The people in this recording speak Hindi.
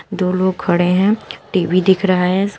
दो लोग खड़े हैं टी_वी दिख रहा है इसका--